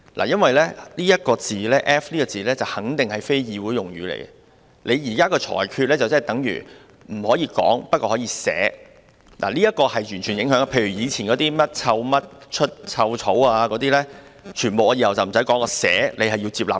因為這個 "F 字"肯定是非議會用語，你現在的裁決等於不可以說但可以寫，這是絕對有影響的，例如過去的甚麼"臭甚麼出臭草"，那些全部我往後都不說，但我寫出來，你也要接納。